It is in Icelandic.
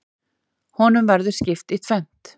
Honum verður skipt í tvennt.